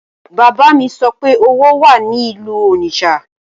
Bàbá mi sọ pé owó wà ní ìlú Onitsha